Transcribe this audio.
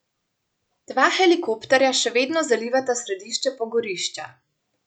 Dva helikopterja še vedno zalivata središče pogorišča.